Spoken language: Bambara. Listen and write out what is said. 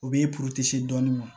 O b'e dɔɔnin ma